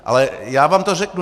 Ale já vám to řeknu.